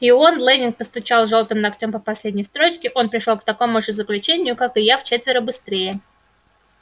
и он лэннинг постучал жёлтым ногтем по последней строчке он пришёл к такому же заключению как и я вчетверо быстрее